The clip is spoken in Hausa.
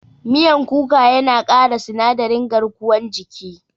Miyan kuka yana ƙara sinadarin garkuwan jiki.